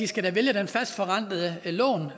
skal vælge det fastforrentede lån